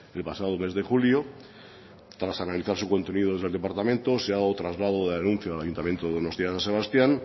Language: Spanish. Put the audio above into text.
el pasado mes de julio tras analizar su contenido desde el departamento se ha dado traslado de denuncia al ayuntamiento de donostia san sebastián